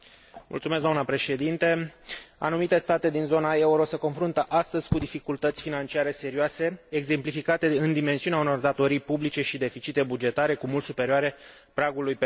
Anumite state din zona euro se confruntă astăzi cu dificultăți financiare serioase, exemplificate prin dimensiunea unor datorii publice și deficite bugetare cu mult superioare pragului permis de Pactul de Stabilitate și Creștere.